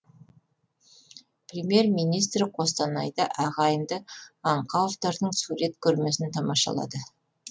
премьер министр қостанайда ағайынды аңқауовтардың сурет көрмесін тамашалады